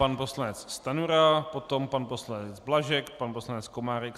Pan poslanec Stanjura, potom pan poslanec Blažek, pan poslanec Komárek.